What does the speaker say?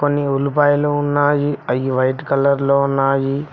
కొన్ని ఉల్లిపాయలు ఉన్నాయి అవి వైట్ కలర్ లో ఉన్నాయి.